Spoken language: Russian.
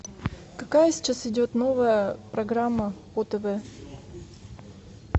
какая сейчас идет новая программа по тв